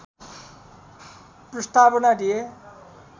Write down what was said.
प्रस्तावना दिए